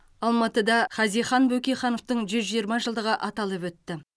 алматыда хазихан бөкейхановтың жүз жиырма жылдығы аталып өтті